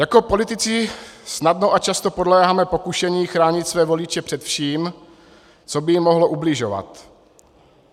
Jako politici snadno a často podléháme pokušení chránit své voliče před vším, co by jim mohlo ubližovat.